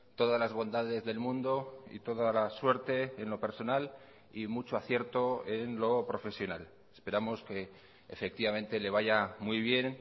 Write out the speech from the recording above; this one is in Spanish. todas las bondades del mundo y toda la suerte en lo personal y mucho acierto en lo profesional esperamos que efectivamente le vaya muy bien